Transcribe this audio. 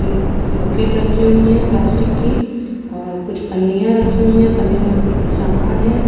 मम्म बकेट रखी हुई है प्लास्टिक की। आ कुछ पन्नियाँ रखी हुई है पन्नियों में कुछ-कुछ सामान है।